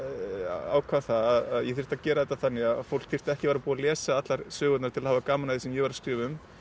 ákvað að ég þyrfti að gera þetta þannig að fólk þyrfti ekki að vera búið að lesa allar sögurnar til að hafa gaman af því sem ég væri að skrifa um